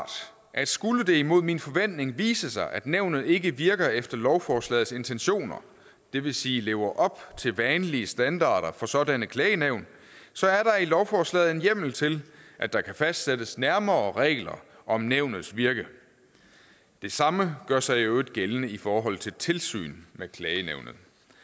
at skulle det mod min forventning vise sig at nævnet ikke virker efter lovforslagets intentioner det vil sige lever op til vanlige standarder for sådanne klagenævn så er der i lovforslaget en hjemmel til at der kan fastsættes nærmere regler om nævnets virke det samme gør sig i øvrigt gældende i forhold til tilsynet med klagenævnet